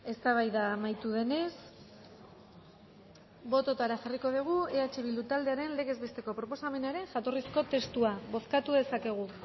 eztabaida amaitu denez bototara jarriko dugu eh bildu taldearen legez besteko proposamenaren jatorrizko testua bozkatu dezakegu